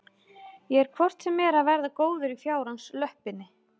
Ég er hvort sem er að verða góður í fjárans löppinni.